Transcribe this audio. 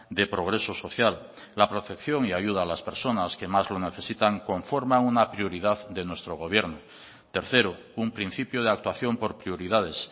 de progreso social la protección y ayuda a las personas que más lo necesitan conforma una prioridad de nuestro gobierno tercero un principio de actuación por prioridades